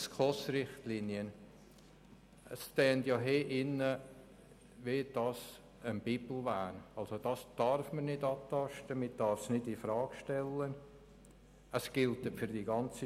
Die SKOS-Richtlinien gelten für die ganze Schweiz und dürfen nicht angetastet oder infrage gestellt werden.